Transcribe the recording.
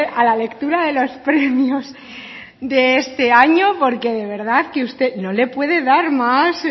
a la lectura de los premios de este año porque de verdad que usted no le puede dar más